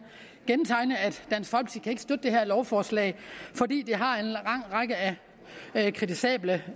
støtte det her lovforslag for det har en lang række af kritisable